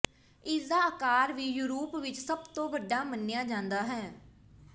ਇਸ ਦਾ ਆਕਾਰ ਵੀ ਯੂਰਪ ਵਿਚ ਸਭ ਤੋਂ ਵੱਡਾ ਮੰਨਿਆ ਜਾਂਦਾ ਹੈ